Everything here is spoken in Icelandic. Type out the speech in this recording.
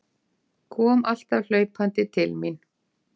Kom alltaf hlaupandi til mín.